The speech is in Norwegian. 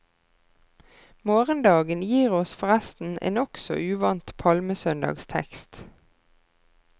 Morgendagen gir oss forresten en nokså uvant palmesøndagstekst.